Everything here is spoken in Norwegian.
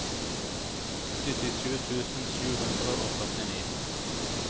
syttisju tusen sju hundre og førtini